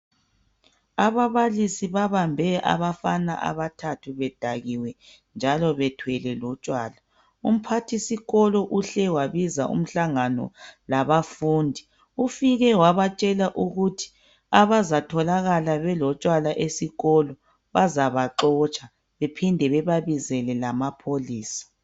Ababalisi babambe abafana abathathu bedakiwe njalo bethwele lotshwala, umphathisikolo uhle wabiza umhlangano labafundi ufike wabatshela ukuthi abazatholakala belotshwala esikolo bazaba xotsha bephinde bebabizele lamapholisa.